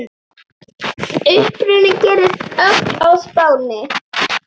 Uppruni gerist öll á Spáni.